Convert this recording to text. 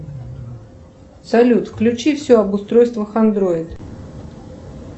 салют включи все об устройствах андроид